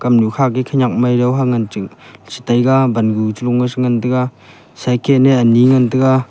kam nu kha khanak mei ha ngan cha chi taiga bannu ngan taiga cycle a ane ngan taiga.